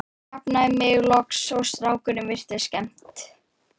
Ég jafnaði mig loks og strákunum virtist skemmt.